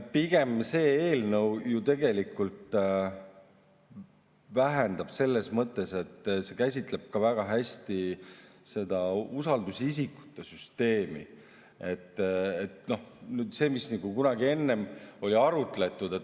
Pigem see eelnõu ju vähendab, selles mõttes, et see käsitleb ka väga hästi seda usaldusisikute süsteemi, mida nagu kunagi enne oli arutletud.